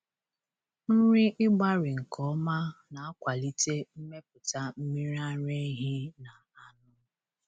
Nri ịgbarị nke ọma na-akwalite mmepụta mmiri ara ehi na anụ.